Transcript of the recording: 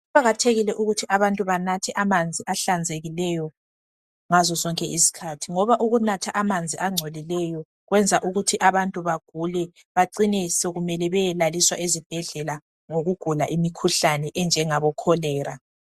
Kuqakathekile ukuthi abantu banathe amanzi ahlanzekileyo ngazo zonke izikhathi. Ngoba ukunatha amanzi angcolileyo kwenza ukuthi abantu bagule bacine sokumele beyelaliswa ezibhedlela ngokugula imikhuhlane enjengabocholera.